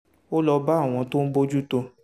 ó lọ bá àwọn tó ń bójú tó